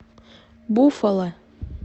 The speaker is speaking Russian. буффало